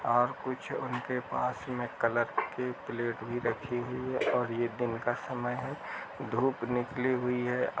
और कुछ उनके पास में कलर की प्लेट भी रखी हुई है और ये दिन का समय है धूप निकली हुई है ।